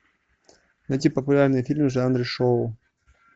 найти популярные фильмы в жанре шоу